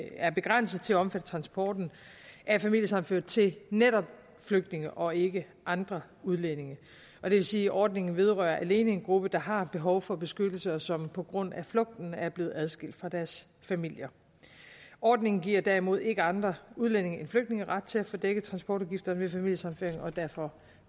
er begrænset til at omfatte transporten af familiesammenførte til netop flygtninge og ikke andre udlændinge det vil sige at ordningen alene vedrører en gruppe der har behov for beskyttelse og som på grund af flugten er blevet adskilt fra deres familier ordningen giver derimod ikke andre udlændinge end flygtninge ret til at få dækket transportudgifter ved familiesammenføring og derfor